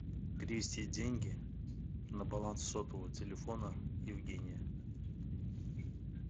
перевести деньги на баланс сотового телефона евгения